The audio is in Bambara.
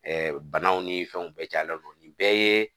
banaw ni fɛnw bɛɛ cayalen don nin bɛɛ ye